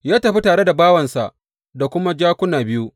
Ya tafi tare bawansa da kuma jakuna biyu.